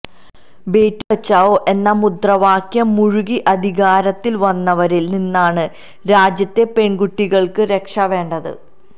ബേഠിബച്ചാവോ എന്ന മുദ്രാവാക്യം മുഴക്കി അധികാരത്തിൽ വന്നവരിൽ നിന്നാണ് രാജ്യത്തെ പെൺകുട്ടികൾക്ക് രക്ഷ വേണ്ടത്